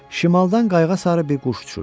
Şimaldan qayığa sarı bir quş uçurdu.